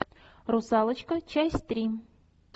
русалочка часть три